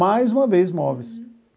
Mais uma vez móveis.